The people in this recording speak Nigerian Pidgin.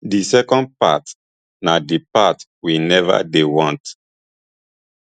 di second part na di part we neva dey want